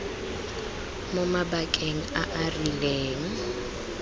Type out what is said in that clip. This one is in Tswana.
mo mabakeng a a rileng